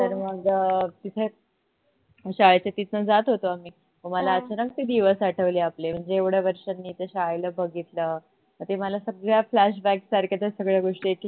तर मग तिथे शाळेच्या तिथनं जात होतो आम्ही तर मला अचानक ते दिवस आठवले आपले म्हणजे एवढ्या वर्षांनी मी शाळेला बघितलतर ते मला सगळ्या flashback सारख्या त्या सगळ्या गोष्टी एक एक करून